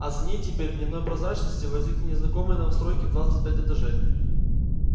а за ней теперь в дневной прозрачности возникли незнакомые новостройки в двадцать пять этажей